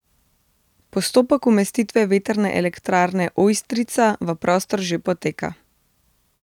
Postopek umestitve Vetrne elektrarne Ojstrica v prostor že poteka.